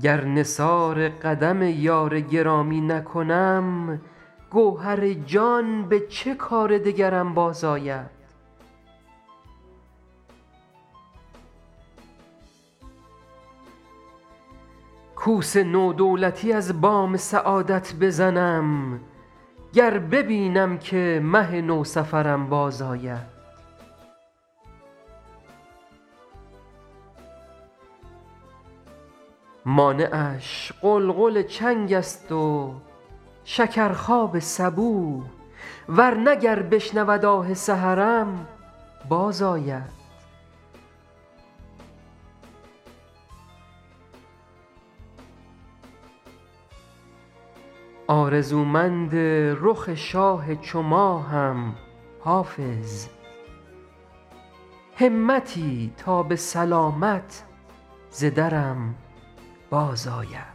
گر نثار قدم یار گرامی نکنم گوهر جان به چه کار دگرم بازآید کوس نو دولتی از بام سعادت بزنم گر ببینم که مه نوسفرم بازآید مانعش غلغل چنگ است و شکرخواب صبوح ور نه گر بشنود آه سحرم بازآید آرزومند رخ شاه چو ماهم حافظ همتی تا به سلامت ز درم بازآید